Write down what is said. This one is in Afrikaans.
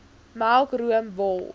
melk room wol